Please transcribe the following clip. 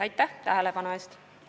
Aitäh tähelepanu eest!